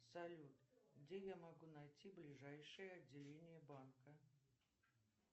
салют где я могу найти ближайшее отделение банка